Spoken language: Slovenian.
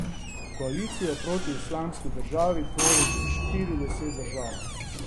Koalicijo proti Islamski državi tvori že štirideset držav.